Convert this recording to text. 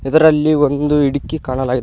ಇದರಲ್ಲಿ ಒಂದು ಹಿಡಕಿ ಕಾಣಲಾಗಿದೆ ಸಾ--